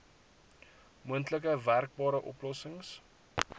moontlik werkbare oplossings